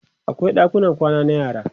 akwai ɗakunan kwana na yara